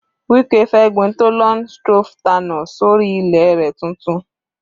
Wike fẹ́ gbin thollon strophanthus sórí ilẹ̀ rẹ̀ tuntun.